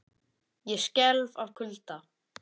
Ég skelf af kulda.